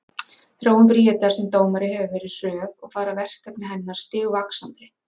Þróun Bríetar sem dómari hefur verið hröð og fara verkefni hennar stigvaxandi.